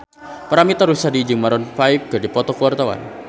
Paramitha Rusady jeung Maroon 5 keur dipoto ku wartawan